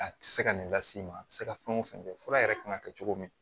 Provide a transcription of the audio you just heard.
A tɛ se ka nin las'i ma a bɛ se ka fɛn o fɛn kɛ fura yɛrɛ kan ka kɛ cogo min